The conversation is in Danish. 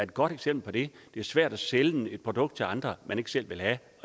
godt eksempel på det et svært at sælge et produkt til andre man ikke selv vil have